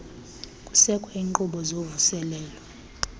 kusekwa iinkqubo zovuselelo